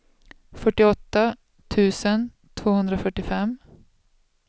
fyrtioåtta tusen tvåhundrafyrtiofem